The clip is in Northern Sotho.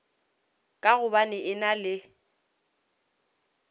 ka gobane e na le